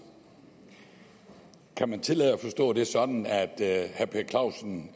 kan man tillade sig at forstå det sådan at herre per clausen